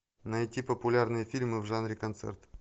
найти популярные фильмы в жанре концерт